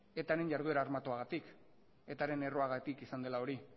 eta ren jarduera armatuagatik eta ren erruagatik izan dela hori